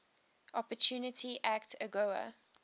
opportunity act agoa